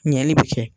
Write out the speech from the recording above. Ɲɛli bɛ kɛ